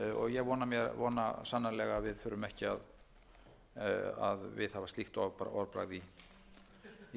ég vona sannarlega að við þurfum ekki að viðhafa slíkt orðbragð í